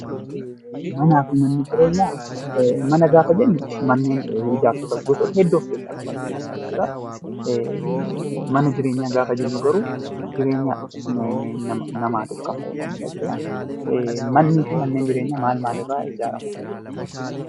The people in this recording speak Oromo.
Manaa fi mana jireenyaa gaafa jennu mana jechuun ijaarsa gosoota hedduu of keessaa qabaachuu danda'a jechuudha. Mana jireenya gaafa jennu garuu jireenya namaatiif kan fayyadan jechuudha. Manaa fi manni jireenyaa maal maal irraa ijaaramuu danda'u.